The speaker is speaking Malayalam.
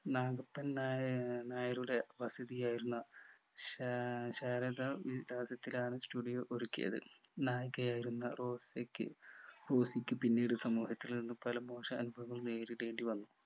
നാഗപ്പൻ നാഏർ നായരുടെ വസതിയായിരുന്ന ശാ ഏർ ശാരദാ വിലാസത്തിലാണ് studio ഒരുക്കിയത് നായികയായിരുന്ന റോസിക്ക് റോസിക് പിന്നീട് സമൂഹത്തിൽ നിന്നും പല മോശ അനുഭവങ്ങളും നേരിടേണ്ടി വന്നു